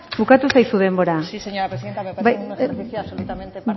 bukatu zaizu denbora sí señora presidenta me parece un ejercicio absolutamente